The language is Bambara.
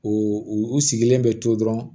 O u sigilen bɛ to dɔrɔn